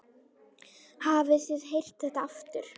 Hafið þið heyrt þetta aftur?